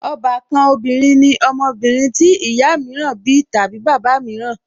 Ọbàkan obìnrin ní ọmọbìnrin tí ìyá mìíràn bí tàbí bàbá mìíràn